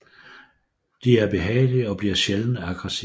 De er behagelige og bliver sjældent aggressive